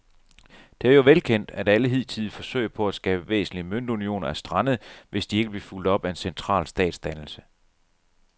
Det er jo velkendt, at alle hidtidige forsøg på at skabe væsentlige møntunioner er strandet, hvis de ikke blev fulgt op af en central statsdannelse.